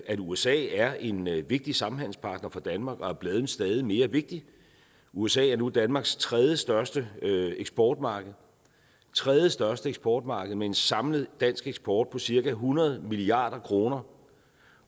at usa er en vigtig samhandelspartner for danmark og er blevet stadig mere vigtig usa er nu danmarks tredjestørste eksportmarked tredje største eksportmarked med en samlet dansk eksport på cirka hundrede milliard kroner